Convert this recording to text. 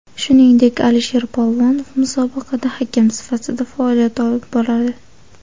Shuningdek, Alisher Polvonov musobaqada hakam sifatida faoliyat olib boradi.